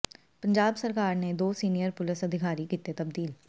ਪੰਜਾਬ ਸਰਕਾਰ ਨੇ ਦੋ ਸੀਨੀਅਰ ਪੁਲਸ ਅਧਿਕਾਰੀ ਕੀਤੇ ਤਬਦੀਲ